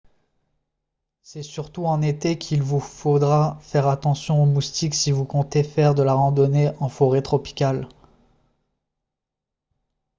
c'est surtout en été qu'il vous faudra faire attention aux moustiques si vous comptez faire de la randonnée en forêt tropicale